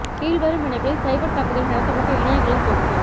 கீழ் வரும் இணைப்பில் சைபர் தாக்குதல் நடத்தப்பட்ட இணையங்களின் தொகுப்பு